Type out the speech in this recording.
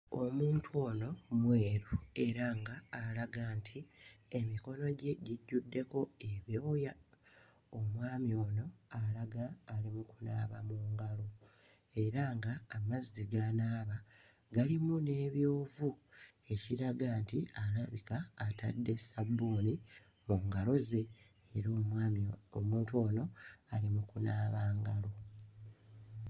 Omuntu ono mweru era ng'alaga nti emikono gye gijjuddeko ebyoya. Omwami ono alaga ali mu kunaaba mu ngalo era ng'amazzi g'anaaba galimu n'ebyovu, ekiraga nti alabika atadde sabbuuni mu ngalo ze era omwami... omuntu ono ali mu kunaaba ngalo.